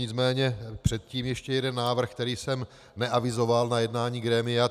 Nicméně předtím ještě jeden návrh, který jsem neavizoval na jednání grémia.